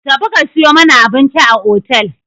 Tafi ka sayo mana abinci a otel!